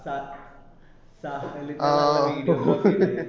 സ video